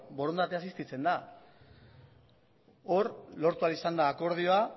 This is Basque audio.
borondatea existitzen da hor lortu ahal izan da akordioa